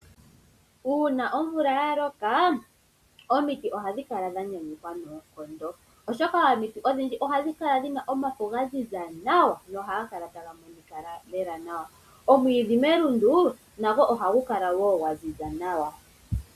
Uuna omvula yaloka omiti ohadhi kala dhanyanyulwa noonkondo oshoka omiti odhindji ohadhi kala dhina omafo gaziza nawa nohaga kala taga monika lela nawa. Omwiidhi melundu nago ohagu kala wo gwaziza nawa.